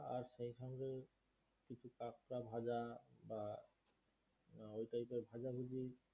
কাঁকড়া ভাজা বা ওই টাইপের ভাজাভুজি